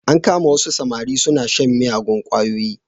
An kama wasu samari suna shan miyagun ƙwayoyi.